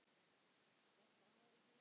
Dadda hló.